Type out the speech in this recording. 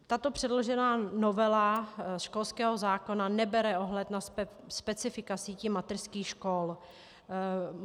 Tato předložená novela školského zákona nebere ohled na specifika sítí mateřských škol.